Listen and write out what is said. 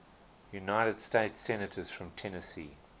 united states senators from tennessee